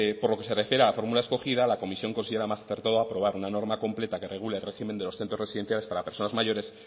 por lo que se refiere a la fórmula escogida la comisión considera más acertado aprobar una norma completa que regule el régimen de los centros residenciales para personas mayores